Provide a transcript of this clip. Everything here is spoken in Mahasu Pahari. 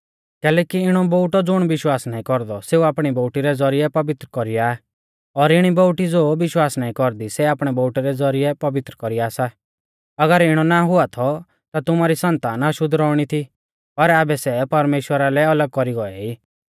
कैलैकि इणौ बोउटौ ज़ुण विश्वास नाईं कौरदौ सेऊ आपणी बोउटी रै ज़ौरिऐ पवित्र कौरीया और इणी बोउटी ज़ो विश्वास नाईं कौरदी सै आपणै बोउटै रै ज़ौरिऐ पवित्र कौरीया सा अगर इणौ ना हुआ थौ ता तुमारी सन्तान अशुद्ध रौउणी थी पर आबै सै परमेश्‍वरा लै अलग कौरी गौऐ ई